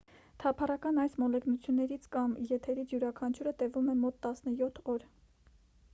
թափառական այս մոլեգնություններից կամ երթերից յուրաքանչյուրը տևում է մոտ 17 օր